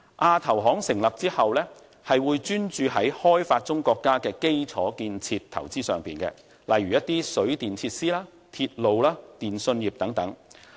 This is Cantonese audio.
亞投行成立後，會專注於發展中國家的基礎建設投資這一方面，例如水電設施、鐵路、電訊業等。